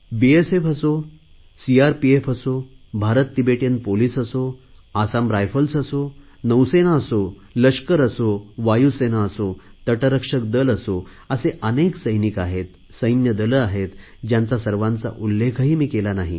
BSF असो CRPF असो Bharat Tibetan police असो आसाम रायफल असो नौसेना असो लष्कर असो वायूसेना असो तटरक्षक दल असो असे अनेक सैनिक आहेत सैन्यदले आहेत ज्यांचा सर्वांचा उल्लेखही मी केला नाही